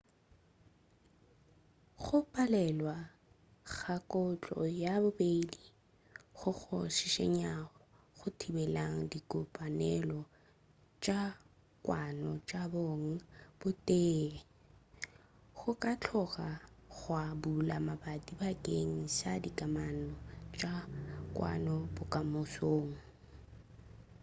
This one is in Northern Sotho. go palelwa ga kotlo ya bobedi goo go šišinyang go thibela dikopanelo tša kwano tša bong bo tee go ka tloga gwa bula mabati bakeng sa dikamano tša kwano bokamosong